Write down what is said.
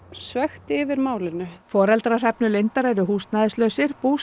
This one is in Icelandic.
svekkt yfir málinu foreldrar Hrefnu Lindar eru húsnæðislausir